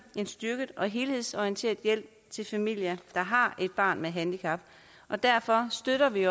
en styrket og helhedsorienteret hjælp til familier der har et barn med handicap og derfor støtter vi